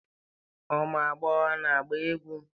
Ụmụ agbọghọ na-agba egwú.